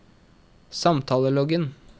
samtaleloggen